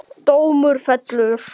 Dómur fellur